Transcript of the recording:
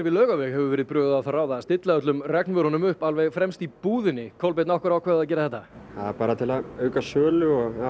Laugaveg hefur verið brugðið á það ráð að stilla öllum regnvörunum upp alveg fremst í búðinni Kolbeinn af hverju ákváðuð þið að gera þetta það var bara til að auka sölu